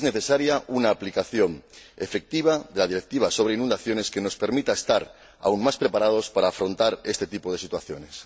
Y es necesaria una aplicación efectiva de la Directiva sobre inundaciones que nos permita estar aún más preparados para afrontar este tipo de situaciones.